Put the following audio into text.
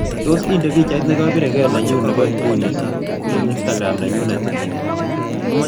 Tos' indee biichait negabir gee nenyuun ne po inguni eng' instagram nenyunet ii